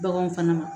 Baganw fana ma